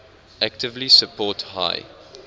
actively support high